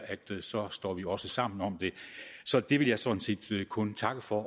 at så står vi også sammen om det så det vil jeg sådan set kun takke for